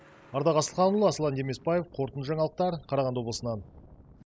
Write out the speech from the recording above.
ардақ асылханұлы аслан демесбаев қорытынды жаңалықтар қарағанды облысынан